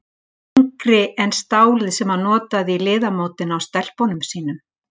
Þyngri en stálið sem hann notaði í liðamótin á stelpunum sínum.